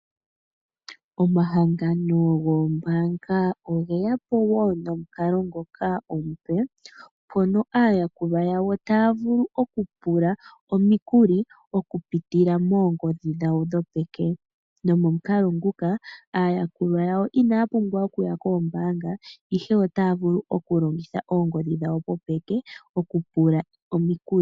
Omahangano goombaanga oge ya po wo nomukalo ngoka omupe mono aayakulwa yawo taya vulu okupula omikuli okupitila moongodhi dhawo dhopeke. Momukalo nguka aayakulwa inaya pumbwa we okuya koombaanga, ihe otaya vulu okulongitha oongodhi dhawo dhopeke okupula omikuli.